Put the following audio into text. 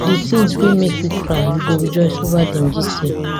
di tins wey make you cry you go rejoice ova dem dis year